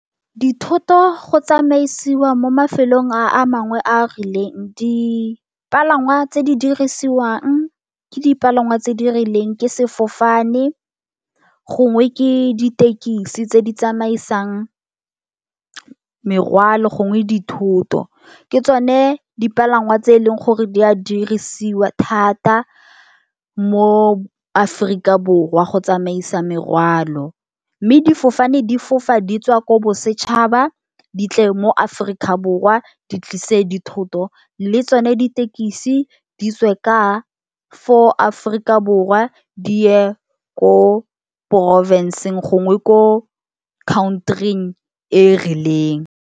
Dithoto go tsamaisiwa mo mafelong a mangwe a a rileng. Dipalangwa tse di dirisiwang ke dipalangwa tse di rileng ke sefofane, gongwe ke ditekisi tse di tsamaisang merwalo, gongwe dithoto. Ke tsone dipalangwa tse e leng gore di a dirisiwa thata mo Aforika Borwa, go tsamaisa merwalo. Mme difofane di fofa di tswa ko bosetšhaba, di tle mo Aforika Borwa di tlise dithoto, le tsone ditekisi di tswe ka fo Afrika Borwa di ye ko porofenseng gongwe ko khaontring e rileng.